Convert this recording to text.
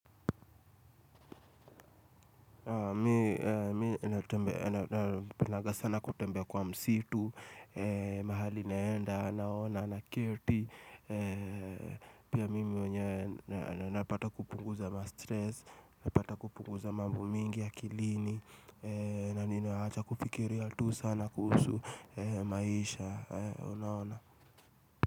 Mi napendaga sana kutembea kwa msitu, mahali naenda, naona, nakerti Pia mimi mwenyewe napata kupunguza mastress, napata kupunguza mambo mingi akilini na ninaacha kufikiria tu sana kuhusu maisha, unaona.